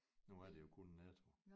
Nu er det jo kun Netto